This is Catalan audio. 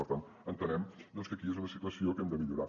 per tant entenem doncs que és una situació que hem de millorar